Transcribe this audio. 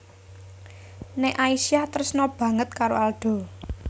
Nek Aisyah tresna banget karo Aldo